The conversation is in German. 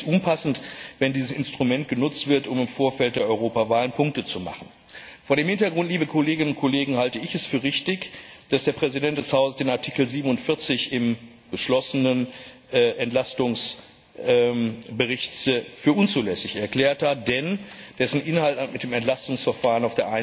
Daher ist es unpassend, wenn dieses Instrument genutzt wird, um im Vorfeld der Europawahlen Punkte zu machen. Vor diesem Hintergrund, liebe Kolleginnen und Kollegen, halte ich es für richtig, dass der Präsident des Hauses die Ziffer47 im beschlossenen Entlastungsbericht für unzulässig erklärt hat, denn auf der einen Seite hat der Inhalt mit dem Entlastungsverfahren